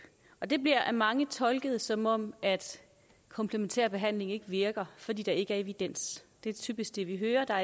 og det bliver af mange tolket som om at komplementær behandling ikke virker fordi der ikke er evidens det er typisk det vi hører